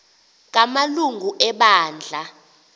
kama lungu ebandla